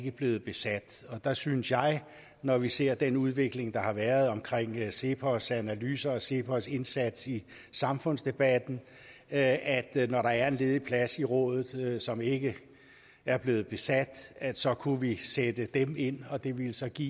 er blevet besat og der synes jeg når vi ser den udvikling der har været omkring cepos analyser og cepos indsats i samfundsdebatten at at når der er en ledig plads i rådet som ikke er blevet besat så kunne vi sætte dem ind og det ville så give